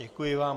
Děkuji vám.